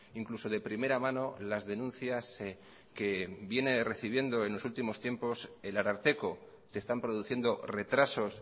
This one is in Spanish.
incluso de primera mano las denuncias que viene recibiendo en los últimos tiempo el ararteko se están produciendo retrasos